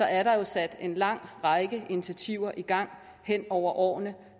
er der jo sat en lang række initiativer i gang hen over årene